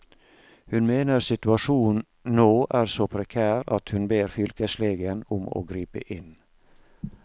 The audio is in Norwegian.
Hun mener situasjonen nå er så prekær at hun ber fylkeslegen om å gripe inn.